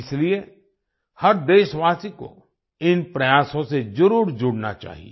इसलिए हर देशवासी को इन प्रयासों से जरुर जुड़ना चाहिए